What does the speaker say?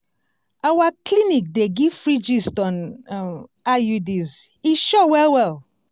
our clinic dey give free gist on um iuds e sure well well!